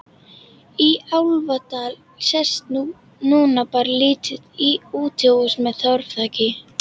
Í Álfadal sést núna bara lítið útihús með torfþaki.